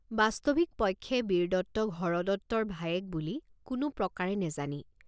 বাস্তবিক পক্ষে বীৰদত্তক হৰদত্তৰ ভায়েক বুলি কোনো প্ৰকাৰে নেজানি।